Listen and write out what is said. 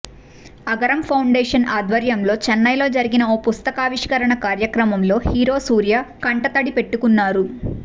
Agaram foundation ఆధ్వర్యంలో చెన్నైలో జరిగిన ఓ పుస్తకావిష్కరణ కార్యక్రమంలో హీరో సూర్య కంటతడి పెట్టుకున్నారు